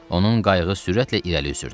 Onun qayığı sürətlə irəli üzürdü.